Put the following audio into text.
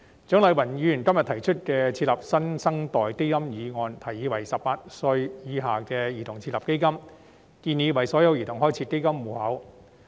蔣麗芸議員今天提出設立"新生代基金"的議案，建議為18歲以下的兒童設立基金，並為所有兒童開設基金戶口。